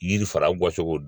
Yiri fara bɔcogo